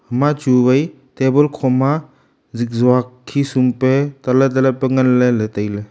ima chu wai table kho ma zitjok khesum pe tale tale pe nganley tailey.